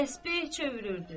Təsbeh çevirirdi.